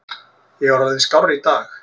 Ég er orðinn skárri í dag.